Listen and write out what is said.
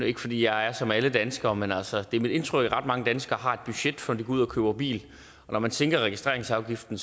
ikke fordi jeg er som alle danskere men altså det er mit indtryk at ret mange danskere har et budget før de går ud og køber bil og når man sænker registreringsafgiften